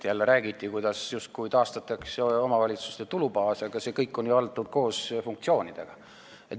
Jälle räägiti, et justkui taastatakse omavalitsuste tulubaas, aga see summa on ju antud koos funktsioonidega.